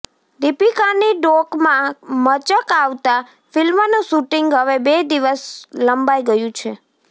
દીપિકાની ડોકમાં મચક આવતા ફિલ્મનું શૂટિંગ હવે બે દિવસ લંબાઇ ગયું છે